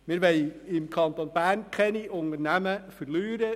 Wir wollen im Kanton Bern keine Unternehmen verlieren.